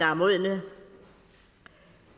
er modne